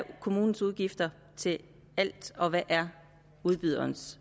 kommunens udgifter til alt og hvad der